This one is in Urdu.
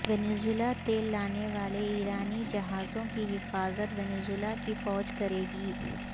وینزویلا تیل لانے والے ایرانی جہازوں کی حفاظت وینزویلا کی فوج کرے گی